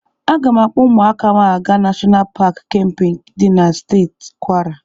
Aga m akpọ ụmụaka m aga Nashọnal Paki Kempe dị na Steeti Kwara.